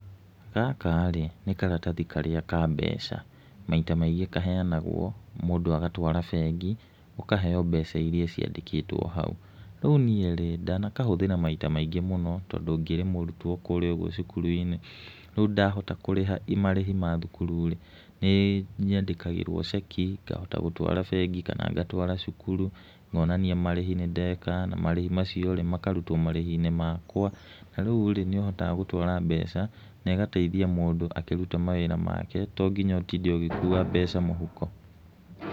Gaka rĩ nĩ karatathi karíĩ ka mbeca. Maita maingĩ kaheanagwo mũndũ agatwara bengi ũkaheo mbeca iria ciandĩkĩtwo hau. Rĩu niĩ rĩ, ndanakahũthĩra maita maingĩ mũno tondũ ngĩrĩ mũrutwo kũríĩ ũguo cukuru-inĩ, rĩu ndahota kũrĩha marĩhi ma thukuru rĩ, nĩ nyandĩkagĩrwo ceki ngahota gũtwara bengi kana ngatwara cukuru, ngonania marĩhi nĩ ndeka na marĩhi macio rĩ, makarutwo marĩhi-inĩ makwa. Rĩu rĩ nĩ hotaga gũtwara mbeca, na ĩgateithia mũndũ akĩruta mawĩra make, to nginya ũtinde ũgĩkua mbeca mũhuko.